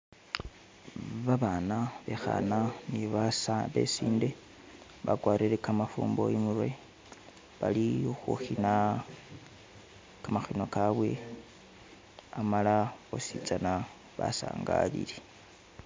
Babaana bekhana ne besinde bakwarire kamafumbo imurwe bali khukhina kamakhino kabwe amala boosi tsana basangalile